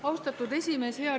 Austatud esimees!